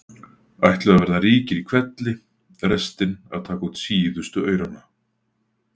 ætluðu að verða ríkir í hvelli- restin að taka út síðustu aurana.